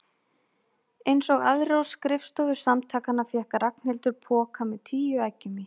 Einsog aðrir á skrifstofu Samtakanna fékk Ragnhildur poka með tíu eggjum í.